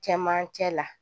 Cɛmancɛ la